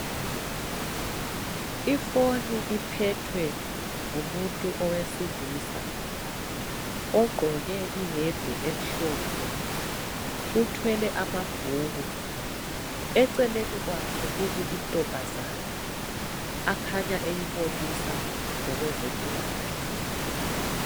Ifoni iphethwe ngumuntu owesilisa ugqoke iyembe emhlophe. Uthwele amabhuku. Eceleni kwakhe kumi intombazana akhanya eyibonisa ngokwezempilakahle.